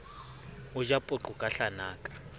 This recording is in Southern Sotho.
o ja poqo ka hlanaka